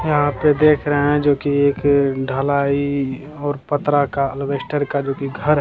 यहाँ पे देख रहे हैं जो की एक ढलाई और पत्रा का एल्वेस्टर का जो की घर --